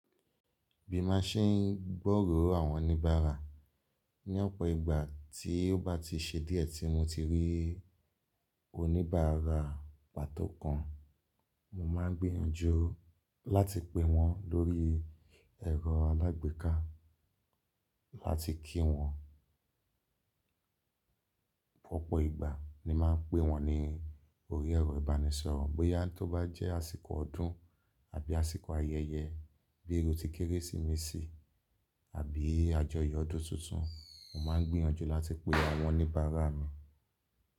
Bí maa ṣe ń gbọ́ràn àwọn oníbàárà ní ọ̀pọ̀ ìgbà tí ó bá ti ṣe díẹ̀ tí mo ti rí oníbàárà pàtó kan, mo máa ń gbìyànjú láti pe wọ́n lórí ẹ̀rọ alágbèéká láti kí wọ́n. Opọ̀ ìgbà ni màá pè wọ́n ní orí ẹ̀rọ ìbánisọ̀rọ̀ bóyá tó bá jẹ́ àsìkò ọdún àbí àsìkò ayẹyẹ bí i iru tí Kérésìmesì àbí àjọyọ̀ ọdún tuntun, mo máa ń gbìyànjú láti pe àwọn oníbàárà mi.